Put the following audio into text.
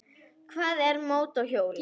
Hvað með mótorhjólið?